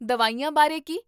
ਦਵਾਈਆਂ ਬਾਰੇ ਕੀ?